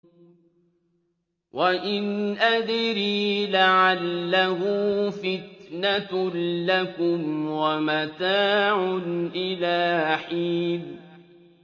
وَإِنْ أَدْرِي لَعَلَّهُ فِتْنَةٌ لَّكُمْ وَمَتَاعٌ إِلَىٰ حِينٍ